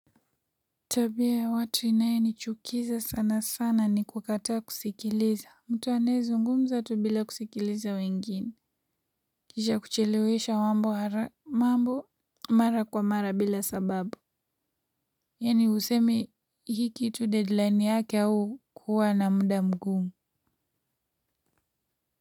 Tabia ya watu inayonichukiza sanasana ni kukataa kusikiliza. Mtu anayezungumza tu bila kusikiliza wengine. Kisha kuchelewesha mambo mara kwa mara bila sababu. Yaani usemi hii kitu deadline yake au kuwa na muda mgumu.